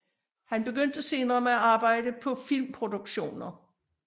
Han begyndte senere med at arbejde på filmproduktioner